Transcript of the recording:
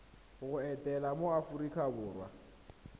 go etela mo aforika borwa